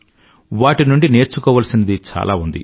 వాటి నుండి నేర్చుకోవాల్సినది చాలా ఉంది